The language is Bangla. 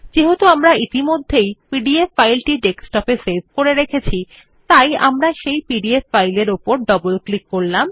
যেহেতু আমরা ইতিমধ্যেই পিডিএফ ফাইলটি ডেস্কটপে সেভ করেছি আমরা এখন পিডিএফ ফাইল উপর ডবল ক্লিক করব